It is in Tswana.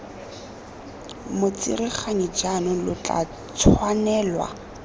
motsereganyi jaanong lo tla tshwanelwa